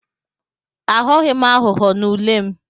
Aghọghị m aghụghọ n'ule m.